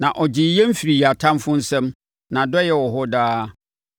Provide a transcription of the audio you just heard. Na ɔgyee yɛn firii yɛn atamfoɔ nsam. Nʼadɔeɛ wɔ hɔ daa.